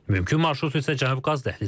Mümkün marşrut isə Cənub qaz dəhlizidir.